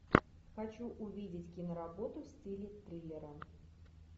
хочу увидеть киноработу в стиле триллера